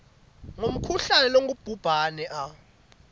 ngumkhuhlane longubhubhane a